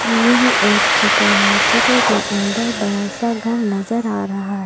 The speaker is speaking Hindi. यह एक चित्र है चित्र के अंदर बड़ा सा घर नजर आ रहा--